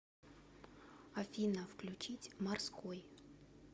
афина включить морской